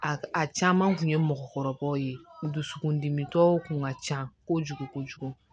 A a caman kun ye mɔgɔkɔrɔbaw ye dusukundimitɔw kun ka ca kojugu kojugu